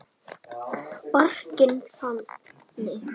Barkinn þaninn.